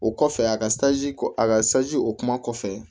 O kɔfɛ a ka ko a ka o kuma kɔfɛ